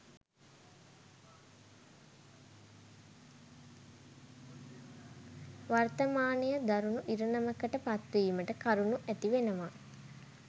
වර්තමානය දරුණු ඉරණමකට පත්වීමට කරුණු ඇති වෙනවා.